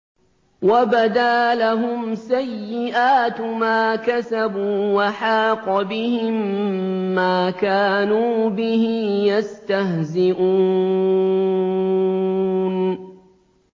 وَبَدَا لَهُمْ سَيِّئَاتُ مَا كَسَبُوا وَحَاقَ بِهِم مَّا كَانُوا بِهِ يَسْتَهْزِئُونَ